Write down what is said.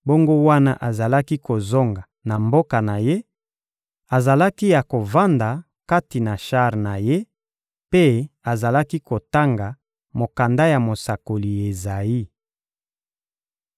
bongo wana azalaki kozonga na mboka na ye, azalaki ya kovanda kati na shar na ye mpe azalaki kotanga mokanda ya mosakoli Ezayi.